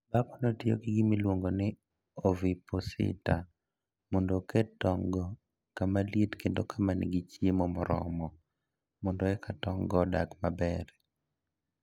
Dhakono tiyo gi gima iluongo ni "ovipositor" mondo oket tong'go kama liet kendo ma nigi chiemo moromo, mondo eka tong'go odongi maber.